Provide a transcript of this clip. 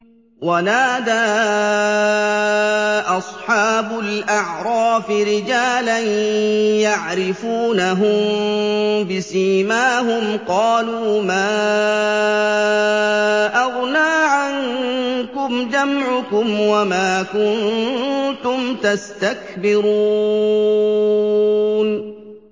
وَنَادَىٰ أَصْحَابُ الْأَعْرَافِ رِجَالًا يَعْرِفُونَهُم بِسِيمَاهُمْ قَالُوا مَا أَغْنَىٰ عَنكُمْ جَمْعُكُمْ وَمَا كُنتُمْ تَسْتَكْبِرُونَ